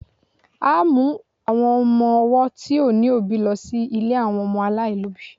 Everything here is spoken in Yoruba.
a mu àwọn ọmọ ọwọ ti o ni obi lo sí ilè àwọn ọmọ alailobi